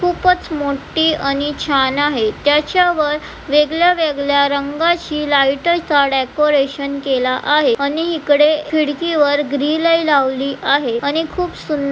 खूपच मोठी आणि छान आहे त्याच्या वर वेगळ्या वेगळ्या रंगाची लाइट चा डेकोरेशन केला आहे आणि इकडे खिडकी वर ग्रिल ही लावली आहे आणि खूप सुं--